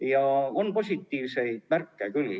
Ja on positiivseid märke küll.